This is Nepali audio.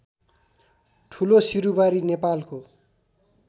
ठुलोसिरुबारी नेपालको